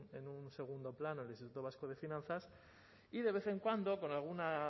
en un segundo plano el instituto vasco de finanzas y de vez en cuando por alguna